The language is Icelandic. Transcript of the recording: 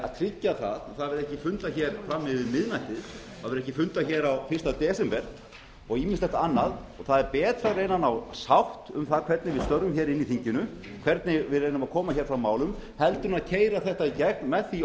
að tryggja að ekki verði fundað fram yfir miðnætti það verði ekki fundað fyrsta desember og ýmislegt annað það er betra að reyna að ná sátt um það hvernig við störfum í þinginu hvernig við reynum að koma fram málum heldur en keyra þetta í gegn með því